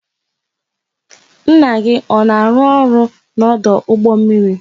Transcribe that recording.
Nna gị ọ ka na arụ ọrụ n'ọdụ ụgbọ mmiri?